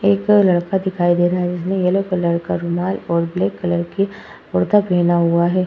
एक लड़का दिखाई दे रहा है। जिसने येलो कलर का रुमाल और ब्लैक कलर के कुर्ता पहना हुआ है।